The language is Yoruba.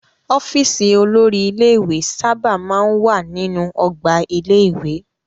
Ọ́fíísì olórí ilé-ìwé sábà máa ń wà nínú ọgbà ilé-ìwé.